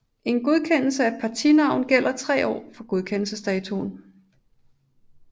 En godkendelse af et partinavn gælder i 3 år fra godkendelsesdatoen